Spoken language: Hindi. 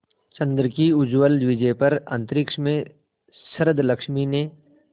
चंद्र की उज्ज्वल विजय पर अंतरिक्ष में शरदलक्ष्मी ने